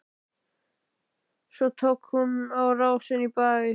Svo tók hún á rás inn í bæ.